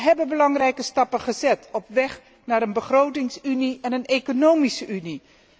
We hebben belangrijke stappen gezet op weg naar een begrotingsunie en een economische Unie